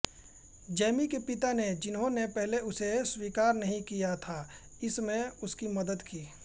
Jamie के पिता ने जिन्होंने पहले उसे स्वीकार नहीं किया था इसमें उसकी मदद की